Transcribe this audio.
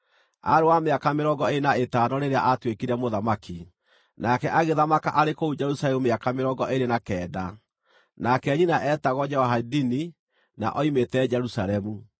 Aarĩ wa mĩaka mĩrongo ĩĩrĩ na ĩtano rĩrĩa aatuĩkire mũthamaki, nake agĩthamaka arĩ kũu Jerusalemu mĩaka mĩrongo ĩĩrĩ na kenda. Nake nyina eetagwo Jehoadini, na oimĩte Jerusalemu.